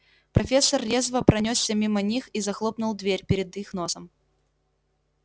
профессор резво пронёсся мимо них и захлопнул дверь перед их носом